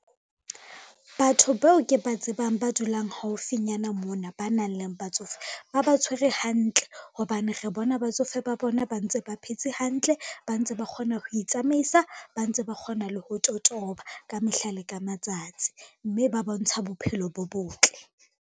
Batho bao ke ba tsebang ba dulang haufinyana mona ba nang le batsofe ba ba tshwere hantle, hobane re bona batsofe ba bona ba ntse ba phetse hantle, ba ntse ba kgona ho itsamaisa, ba ntse ba kgona le ho totoba ka mehla le ka matsatsi, mme ba bontsha bophelo bo botle.